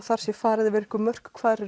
það sé farið yfir einhver mörk hvar